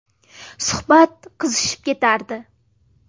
Suhbat qizishib ketardi.